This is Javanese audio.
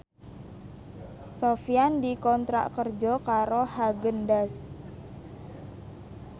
Sofyan dikontrak kerja karo Haagen Daazs